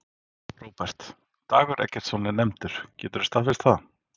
Róbert: Dagur Eggertsson er nefndur, geturðu staðfest það?